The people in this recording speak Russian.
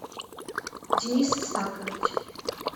денис сакович